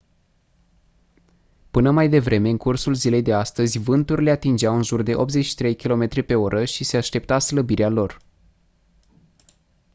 până mai devreme în cursul zilei de astăzi vânturile atingeau în jur de 83 km/h și se aștepta slăbirea lor